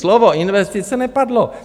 Slovo investice nepadlo.